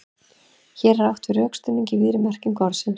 Hér er átt við rökstuðning í víðri merkingu orðsins.